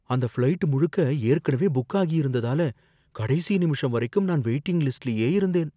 அந்த ஃப்ளைட் முழுக்க ஏற்கனவே புக் ஆகியிருந்ததால, கடைசி நிமிஷம் வரைக்கும் நான் வெயிட்டிங் லிஸ்ட்லயே இருந்தேன்